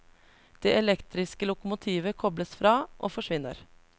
Det elektriske lokomotivet kobles fra, og forsvinner.